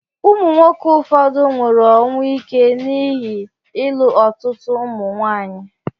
Ụmụ nwoke ụfọdụ nwụrụ ọnwụ ike n'ihi ịlụ ọtụtụ ụmụ nwaanyị